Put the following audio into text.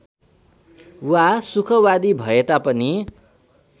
वा सुखवादी भएता पनि